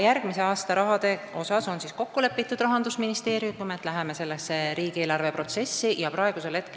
Järgmise aasta raha koha pealt on Rahandusministeeriumiga n-ö riigieelarve protsessi minek kokku lepitud.